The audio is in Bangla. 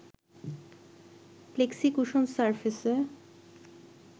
প্লেক্সিকুশন সারফেসে